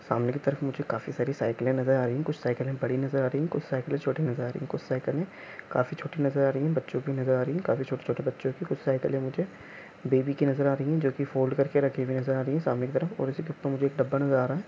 सामरी तक मुझे काफी सारी साइकिले नजर आ रही है कुछ साइकिले बड़ी नजर आ रही है कुछ साइकिले छोटी नजर आ रही है कुछ साइकिले काफी छोटी नजर आ रही है बच्चों की नजर आ रही है काफी छोटे-छोटे बच्चों की कुछ साइकिले मुझे बेबी की नजर आ रही है रही है जो की फोल्ड करके रखी गई नज़र आ रही है सामने की तरफ और उसकी तरफ मुझे एक डब्बा नज़र आ रहा है ।